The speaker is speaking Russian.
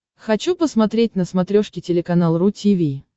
хочу посмотреть на смотрешке телеканал ру ти ви